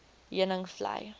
heuningvlei